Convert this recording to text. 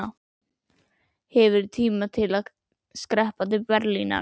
Hefurðu tíma til að skreppa til Berlínar?